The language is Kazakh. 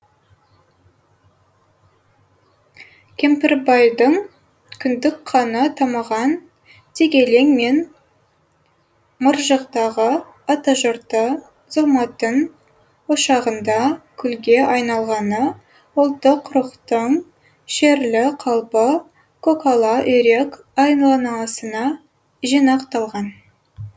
кемпірбайдың кіндік қаны тамған дегелең мен мыржықтағы атажұрты зұлматтың ошағында күлге айналғаны ұлттық рухтың шерлі қалпы көкала үйрек жинақталған